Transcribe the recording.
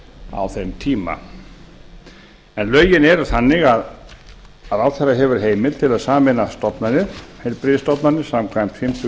á þeim tíma en lögin eru þannig að ráðherra hefur heimild til að sameina stofnanir heilbrigðisstofnanir samkvæmt fimmtu